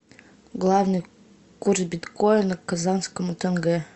главный курс биткоина к казахскому тенге